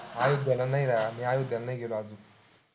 अयोध्याला नाही, मी अयोध्याला नाही गेलो अजून.